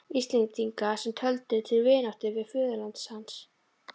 Íslendinga, sem töldu til vináttu við föðurland hans.